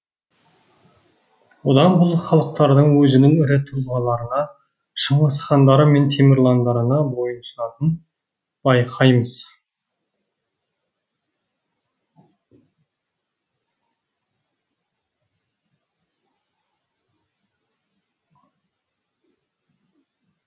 бұдан бұл халықтардың өзінің ірі тұлғаларына шыңғыс хандары мен темірландарына бойұсынатынын байқаймыз